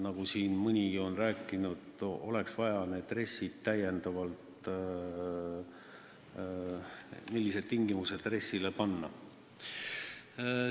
Nagu siin mõni on rääkinud, oleks vaja teada, millised tingimused tuleks RES-i jaoks kehtestada.